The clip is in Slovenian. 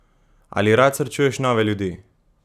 Ali rad srečuješ nove ljudi?